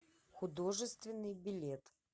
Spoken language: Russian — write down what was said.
художественный билет